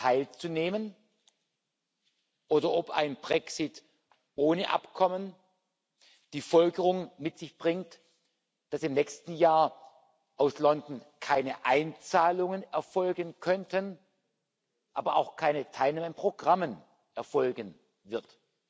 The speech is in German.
teilzunehmen, oder ob ein Brexit ohne Abkommen die Folgerung mit sich bringt, dass im nächsten Jahr aus London keine Einzahlungen erfolgen könnten, aber auch keine Teilnahme an Programmen erfolgen wird.